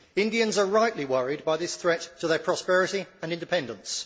Indians are rightly worried by this threat to their prosperity and independence.